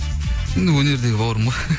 енді өнердегі бауырым ғой